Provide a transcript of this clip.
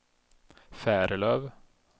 Färlöv